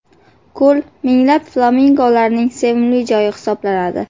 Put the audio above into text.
Ko‘l minglab flamingolarning sevimli joyi hisoblanadi.